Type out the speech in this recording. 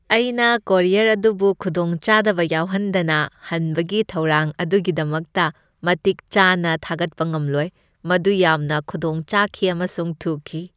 ꯑꯩꯅ ꯀꯨꯔꯤꯌꯔ ꯑꯗꯨꯕꯨ ꯈꯨꯗꯣꯡꯆꯥꯗꯕ ꯌꯥꯎꯍꯟꯗꯅ ꯍꯟꯕꯒꯤ ꯊꯧꯔꯥꯡ ꯑꯗꯨꯒꯤꯗꯃꯛꯇ ꯃꯇꯤꯛ ꯆꯥꯅꯥ ꯊꯥꯒꯠꯄ ꯉꯝꯂꯣꯏ, ꯃꯗꯨ ꯌꯥꯝꯅ ꯈꯨꯗꯣꯡ ꯆꯥꯈꯤ ꯑꯃꯁꯨꯡ ꯊꯨꯈꯤ ꯫